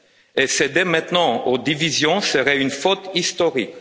Et céder maintenant aux divisions serait une faute historique.